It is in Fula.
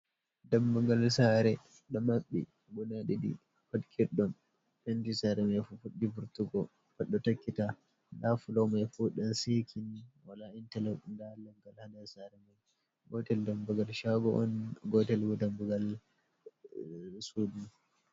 Dammugal saare, ɗo maɓɓi guda ɗiɗi, pat get on. Penti saare mai fuɗɗi furɗugo, pat ɗo takkita, nda flo mai fu ɗan seki ni, walaa intalo. Ndaa leggal haa nder saare mai. Gotel dammugal shaago on, gotel bo dammugal sudu.